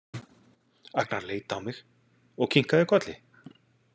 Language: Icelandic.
Agnar leit á mig og kinkaði kolli.